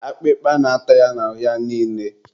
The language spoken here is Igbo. akpịkpa na-ata ya n'ahụ ya niile